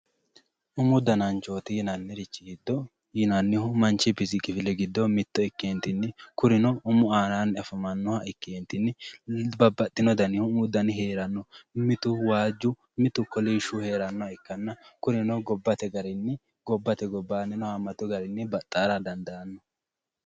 Umu dananchoti yinanniricho giddo yinannihu manchi bisi kifile giddo mitto ikkentinni kunino umu aananni afamanoha ikkentinni babbaxino dannihu umu dananchi heerano mitu waaju, mitu kolishu heeranoha ikkanna gobbate garinni gobbate gobbanni haamatu garinni baxxa dandaano.